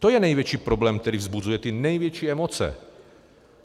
To je největší problém, který vzbuzuje ty největší emoce.